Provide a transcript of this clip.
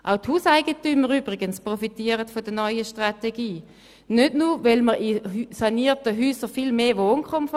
Auch die Hauseigentümer profitieren von der neuen Strategie, denn man hat in sanierten Häusern viel mehr Wohnkomfort.